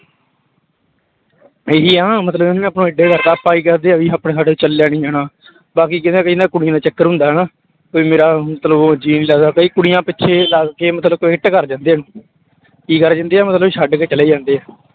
ਇਹੀ ਆ ਨਾ ਮਤਲਬ ਉਹਨਾਂ ਨੇ ਆਪਾਂ ਨੂੰ ਇੱਡੇ ਕਰ ਦਿੱਤੇ, ਆਪਾਂ ਕੀ ਆਪਣੇ ਸਾਡੇ ਚੱਲਿਆ ਨੀ ਜਾਣਾ ਬਾਕੀ ਕੁੜੀਆਂ ਦਾ ਚੱਕਰ ਹੁੰਦਾ ਹਨਾ, ਵੀ ਮੇਰਾ ਮਤਲਬ ਉਹ ਜੀਅ ਨੀ ਲੱਗਦਾ ਕਈ ਕੁੜੀਆਂ ਪਿੱਛੇ ਲੱਗ ਕੇ ਮਤਲਬ quit ਕਰ ਜਾਂਦੇ ਆ ਕੀ ਕਰ ਜਾਂਦੇ ਹੈ ਮਤਲਬ ਛੱਡ ਕੇ ਚਲੇ ਜਾਂਦੇ ਆ।